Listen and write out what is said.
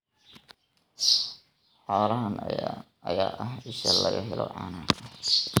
Xoolahan ayaa ah isha laga helo caanaha.